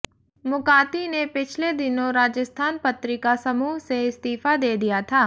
मुकाती ने पिछले दिनों राजस्थान पत्रिका समूह से इस्तीफा दे दिया था